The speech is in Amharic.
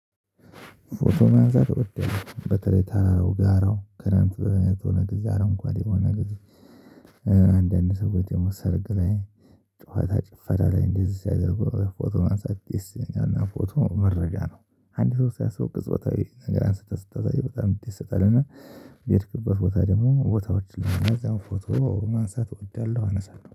ፎቶ ማንሳት እወዳለሁ በተለይ ተራራው ጋራው ክረምት በሆነ ጊዜ አረንጓዴ የሆነ ጊዜ ሰዎች ደግሞ ሰርግ ላይ ጩኸት ጭፈራ ላይ እንደዚህ ሲያደርጉ ፎቶ ማሳደስ የሰኛና ፎቶ መረጃ ነው። አንድ ሰው ሳያሰበው ቅጽበታዊ ነገር አንስተህ ስታሳይ በጣም ይደሰታል እና በሄድክበት ቦታ ደግሞ ቦታዎች ላይ እዛው ፎቶ ማንሳት እወዳለሁ ማለተ ነው